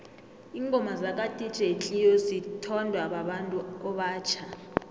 ingoma zaka dj cleo zithondwa babantu obatjha